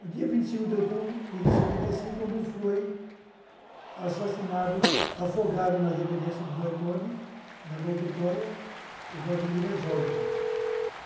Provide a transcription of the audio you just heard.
No dia vinte e cinco de outubro de setenta e cinco, quando foi assassinado, afogado nas dependências do Doiconde, na Rua Totóia, o Vladimir Herzog, gente.